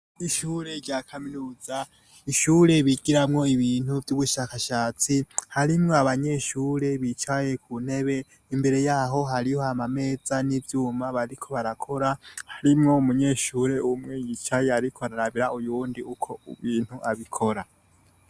Ishure rya kaminuza ishure bigiramwo ibintu vy'ubushakashatsi harimwo abanyeshure bicaye ku ntebe imbere yaho hariho ama meza n'ivyuma bariko barakora harimwo umunyeshure umwe yicaye, ariko ararabira uyundi uko ubintu abikora.